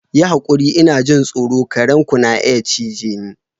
Yi hakuri! Ina jin tsoro, kare ku na iya cije ni.